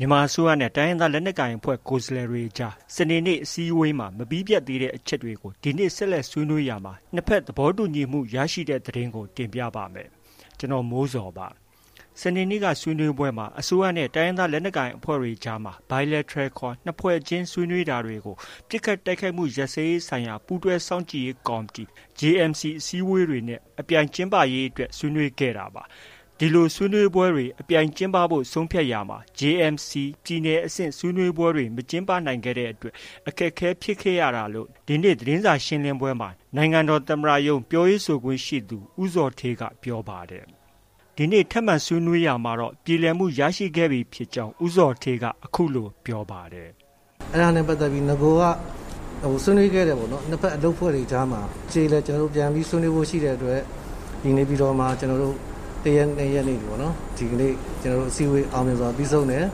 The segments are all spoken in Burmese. မြန်မာအစိုးရနဲ့ တိုင်းရင်းသား လက်နက်ကိုင်အဖွဲ့ ကိုယ်စားလှယ်တွေကြား စနေနေ့ အစည်းအဝေးမှာ မပြီးပြတ်သေးတဲ့ အချက်တွေကို ဒီနေ့ ဆက်လက်ဆွေးနွေးရာမှာ နှစ်ဖက်သဘောတူညီမှု ရခဲ့ကြပါတယ်။ အပြည့်အစုံကို ကိုမိုးဇော်က စုစည်းတင်ပြထားပါတယ်။ စနေနေ့ ဆွေးနွေးပွဲမှာ အစိုးရနဲ့ တိုင်းရင်းသား လက်နက်ကိုင်အဖွဲ့တွေအကြားမှာ Bilateral ခေါ် နှစ်ဖွဲ့ချင်း ဆွေးနွေးတာတွေကို ပစ်ခတ်တိုက်ခိုက်မှု ရပ်စဲရေးဆိုင်ရာ ပူးတွဲစောင့်ကြည့်ရေး ကော်မတီ (JMC) အစည်းအဝေးတွေနဲ့ Parallel အပြိုင်ကျင်းပရေးအတွက် ဆွေးနွေးခဲ့တာပါ။ ဒီလို ဆွေးနွေးပွဲတွေ အပြိုင်ကျင်းပဖို့ ဆုံးဖြတ်ရာမှာ JMC ပြည်နယ်အဆင့် ဆွေးနွေးပွဲတွေ မကျင်းပနိုင်ခဲ့တဲ့အတွက် အခက်အခဲ ဖြစ်ခဲ့ရတာလို့ ဒီနေ့ သတင်းစာရှင်းလင်းပွဲမှာ နိုင်ငံတော်သမ္မတရုံး ပြောခွင့်ရသူ ဦးဇော်ဌေးက ပြောပါတယ်။ ဒီနေ့ ထပ်မံဆွေးနွေးရာမှာတော့ ပြေလည်မှု ရခဲ့ပြီဖြစ်ကြောင်း ဦးဇော်ဌေးက အခုလို ဆက်ပြောပါတယ်။ “အဲဒါနဲ့ပတ်သက်ပြီး နဂိုက ဆွေးနွေးခဲ့တယ်ပေါ့နော်။ နှစ်ဖက် အလုပ်အဖွဲ့ကြားမှာ အကျေအလည် ပြန်ပြီးဆွေးနွေးဖို့ ရှိတဲ့အတွက် နေပြည်တော်မှာ ကျနော်တို့ ၁ ရက်၊ ၂ ရက်နေ့ပေါ့။ ဒီကနေ့ အစည်းအဝေး အောင်မြင်စွာ ပြီးဆုံးတယ်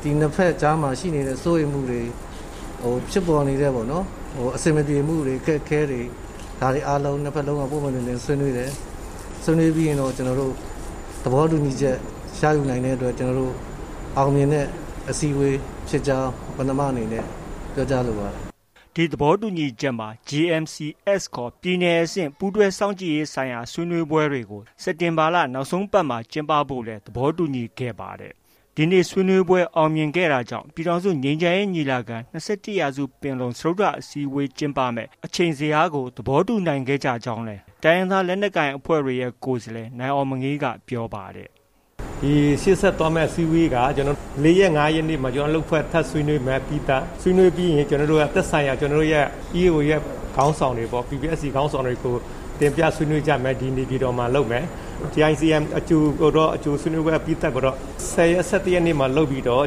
။ ဒီနှစ်ဖက်ကြားမှာ ရှိနေတဲ့ စိုးရိမ်မှုတွေ၊ ဖြစ်ပေါ်နေတဲ့ အဆင်မပြေမှုတွေ၊ ဒါတွေအားလုံး နှစ်ဖက်လုံးက ပွင့်ပွင့်လင်းလင်း ဆွေးနွေးတယ်။ ဆွေးနွေးပြီးရင်တော့ သဘောတူညီချက် ရယူနိုင်တဲ့အတွက် ကျနော်တို့ အောင်မြင်တဲ့ အစည်းအဝေးဖြစ်ကြောင်း ပဏာမအနေနဲ့ ပြောကြားလိုပါတယ်။” ဒီသဘောတူညီချက်မှာ JMC-S ခေါ် ပြည်နယ်အဆင့် ပူးတွဲစောင့်ကြည့်ရေးဆိုင်ရာ ဆွေးနွေးပွဲတွေ စက်တင်ဘာ နောက်ဆုံးပတ်မှာ ကျင်းပဖို့လည်း သဘောတူညီခဲ့ကြပါတယ်။ ဒီနေ့ ဆွေးနွေးပွဲ အောင်မြင်ခဲ့တာကြောင့် ပြည်ထောင်စုငြိမ်းချမ်းရေးညီလာခံ - ၂၁ ရာစုပင်လုံ စတုတ္ထအစည်းအဝေး ကျင်းပမယ့် အချိန်ဇယားကို သဘောတူညီနိုင်ခဲ့ကြကြောင်းလည်း တိုင်းရင်းသား လက်နက်ကိုင်အဖွဲ့တွေရဲ့ ကိုယ်စားလှယ် နိုင်အောင်မငေးက ပြောပါတယ်။ “ရှေ့ဆက်သွားမယ့် အစည်းအဝေးက ၄ ရက်၊ ၅ ရက်နေ့မှာ ကျနော်တို့ အလုပ်အဖွဲ့ ထပ်ဆွေးနွေးမယ် အပြီးသတ်။ ဆွေးနွေးပြီးရင် သက်ဆိုင်ရာ ကျနော်တို့ရဲ့ EAO တွေရဲ့ ခေါင်းဆောင်တွေပေါ့။ PPST ခေါင်းဆောင်တွေကို တင်ပြဆွေးနွေးကြမယ်။ ဒီ နေပြည်တော်မှာလုပ်မယ်။ JICM အကြို အကြိုအပြီးသတ်ကိုတော့ ၁၀ ရက်၊ ၁၁ ရက်မှာ လုပ်ပြီးတော့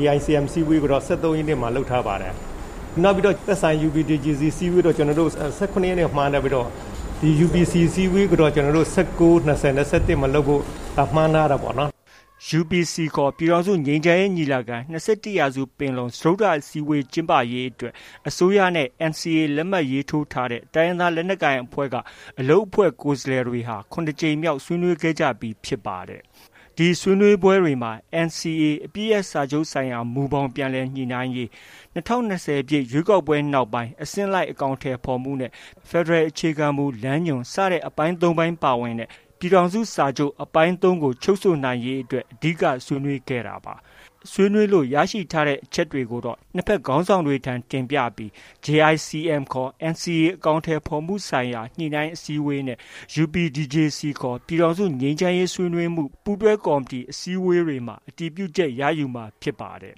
JICM အစည်းအဝေးကိုတော့ ၁၃ ရက်နေ့မှာ လုပ်ထားပါတယ်။ သက်ဆိုင်ရာ UPDJC အစည်းအဝေးကိုတော့ ၁၇ ရက်နေ့မှာ မှန်းထားပြီးတော့ UPC အစည်းအဝေးကိုတော့ ၁၉၊ ၂၀၊ ၂၁ မှာလုပ်ဖို့ မှန်းထားတာပေါ့နော်။” UPC ခေါ် ပြည်ထောင်စုငြိမ်းချမ်းရေးညီလာခံ - ၂၁ ရာစုပင်လုံ စတုတ္ထ အစည်းအဝေး ကျင်းပရေးအတွက် အစိုးရနဲ့ NCA လက်မှတ်ထိုး တိုင်းရင်းသား လက်နက်ကိုင်အဖွဲ့က အလုပ်အဖွဲ့ ကိုယ်စားလှယ်တွေဟာ ၇ ကြိမ်မြောက် ညှိနှိုင်းခဲ့ကြပြီးလည်း ဖြစ်ပါတယ်။ ဒီအစည်းအဝေးတွေမှာ NCA အပစ်ရပ်စာချုပ်ဆိုင်ရာ မူဘောင် ပြန်လည်ညှိနှိုင်းရေး၊ ၂၀၂၀ ပြည့် ရွေးကောက်ပွဲနောက်ပိုင်း အဆင့်လိုက် အကောင်အထည်ဖော်မှုနဲ့ ဖက်ဒရယ် အခြေခံမူလမ်းညွှန် စတဲ့ အပိုင်း ၃ ပိုင်း ပါဝင်တဲ့ ပြည်ထောင်စုစာချုပ် အပိုင်း ၃ ကို အဓိက ဆွေးနွေးခဲ့တာပါ။ ရရှိတဲ့ အချက်တွေကိုတော့ နှစ်ဖက်ခေါင်းဆောင်တွေထံ တင်ပြပြီး JICM ခေါ် NCA အကောင်အထည်ဖော်မှုဆိုင်ရာ ညှိနှိုင်းအစည်းအဝေးနဲ့ UPDJC ခေါ် ပြည်ထောင်စုငြိမ်းချမ်းရေး ဆွေးနွေးမှု ပူးတွဲကော်မတီ စတဲ့ အစည်းအဝေးတွေမှာ အတည်ပြုချက်ရယူမှာ ဖြစ်ပါတယ်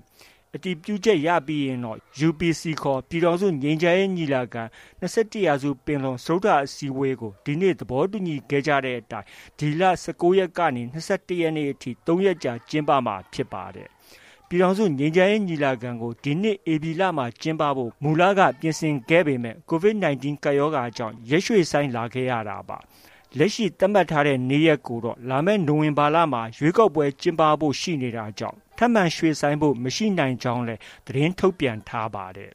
။ အတည်ပြုချက် ရယူပြီးရင်တော့ UPC ခေါ် ပြည်ထောင်စုငြိမ်းချမ်းရေးညီလာခံ - ၂၁ ရာစုပင်လုံ စတုတ္ထအစည်းအဝေးကို ဒီနေ့ သဘောတူညီခဲ့ကြတဲ့အတိုင်း ဒီလ ၁၉ ရက်ကနေ ၂၁ ရက်ထိ ၃ ရက်ကြာ ကျင်းပမှာဖြစ်ပါတယ်။ ပြည်ထောင်စုငြိမ်းချမ်းရေး ညီလာခံကို ဒီနှစ် ဧပြီလမှာ ကျင်းပဖို့ မူလက ပြင်ဆင်ခဲ့ပေမယ့် COVID-19 ကပ်ရောဂါကြောင့် ရက်ရွှေ့ဆိုင်းလာခဲ့ရတာပါ။ လက်ရှိ သတ်မှတ်ထားတဲ့ နေ့ရက်ကိုတော့ လာမယ့် နိုဝင်ဘာလမှာ ရွေးကောက်ပွဲ ကျင်းပဖို့လည်း ရှိနေတာကြောင့် ထပ်မံပြောင်းရွှေ့ဖို့ မရှိနိုင်ကြောင်းလည်း သတင်းထုတ်ပြန်ထားပါတယ်